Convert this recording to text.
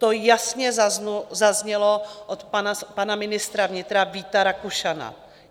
To jasně zaznělo od pana ministra vnitra Víta Rakušana.